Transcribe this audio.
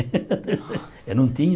Não tinha.